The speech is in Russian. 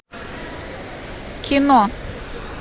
кино